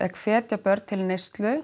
hvetja börn til neyslu